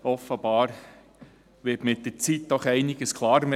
Offenbar wird mit der Zeit doch einiges klarer.